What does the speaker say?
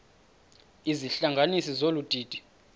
izihlanganisi zolu didi